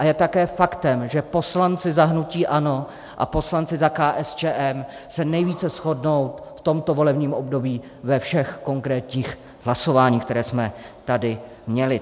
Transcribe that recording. A je také faktem, že poslanci za hnutí ANO a poslanci za KSČM se nejvíce shodnou v tomto volebním období ve všech konkrétních hlasováních, která jsme tady měli.